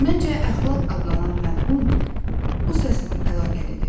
Məncə, əxlaq adlanan məfhum bu səslə əlaqəlidir.